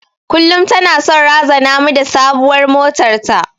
Kullum tana son razana mu da sabuwar motar ta.